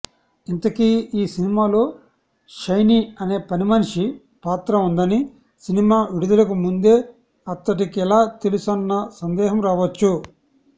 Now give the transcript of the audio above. ఇంతకీ ఈ సినిమాలో షైనీ అనే పనిమనిషి పాత్ర ఉందని సినిమా విడుదలకు ముందే అతడికెలా తెలుసన్న సందేహం రావచ్చు